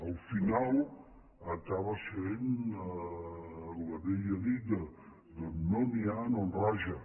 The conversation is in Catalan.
al final acaba sent la vella dita d’on no n’hi ha no en raja